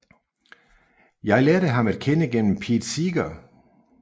Jeg lærte ham at kende gennem Pete Seeger